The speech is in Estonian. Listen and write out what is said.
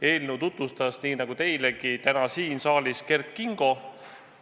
Eelnõu tutvustas, nii nagu teilegi täna siin saalis, Kert Kingo.